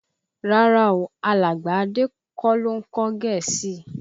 Rárá o, alàgbà Adé kọ́ ló ń kọ́ Gẹ̀ẹ́sì